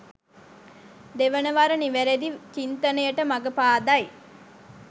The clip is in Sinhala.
දෙවනවර නිවැරදි චින්තනයට මඟ පාදයි